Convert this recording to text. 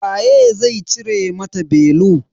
Waye zai cire mata belu.